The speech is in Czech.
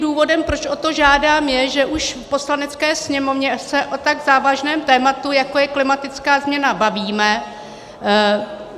Důvodem, proč o to žádám, je, že už v Poslanecké sněmovně se o tak závažném tématu, jako je klimatická změna, bavíme.